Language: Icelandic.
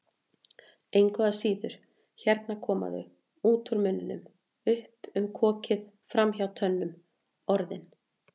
Engu að síður, hérna koma þau, út úr munninum, upp um kokið, framhjá tönnunum, Orðin.